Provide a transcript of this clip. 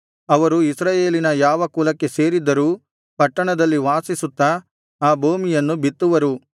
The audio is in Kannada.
ಅವರು ಇಸ್ರಾಯೇಲಿನ ಯಾವ ಕುಲಕ್ಕೆ ಸೇರಿದ್ದರೂ ಪಟ್ಟಣದಲ್ಲಿ ವಾಸಿಸುತ್ತಾ ಆ ಭೂಮಿಯನ್ನು ಬಿತ್ತುವರು